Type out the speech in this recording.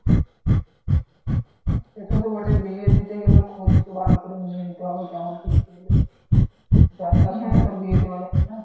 হ্যাঁ সেটা তো বটেই বিয়ে দিতে গেলে খোঁজ তো ভালো করে নিয়েই নিতে হবে কেমন কি ছেলে। যার তার সঙ্গে তো আর বিয়ে দেওয়া হবে না।